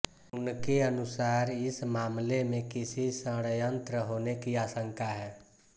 उनके अनुसार इस मामले में किसी षड़यंत्र होने की आंशका है